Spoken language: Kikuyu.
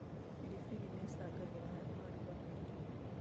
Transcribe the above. Biribiri nĩicangagĩra harĩ maruga maingĩ